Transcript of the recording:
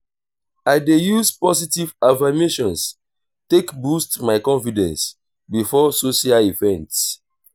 i dey use positive affirmations take boost my confidence before social events.